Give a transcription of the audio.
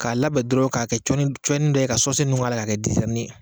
K'a labɛn dɔrɔn k'a kɛ cɔnni cɔnni dɔ ye ka k'a la ka kɛ